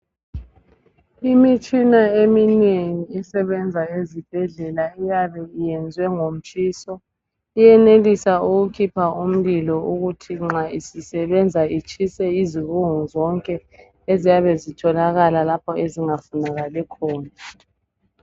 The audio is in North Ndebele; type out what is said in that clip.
Imitshina eminengi esebenza ezibhedlela iyabe iyenzwe ngomtshiso iyenelisa ukukhipha umlilo ukuthi nxa isisebenza itshise izibungu zonke eziyabe zitholakala lapha esingafunakali khona